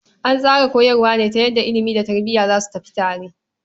An tsara koyarwa ne ta yadda ilimi da tarbiya za su tafi tare.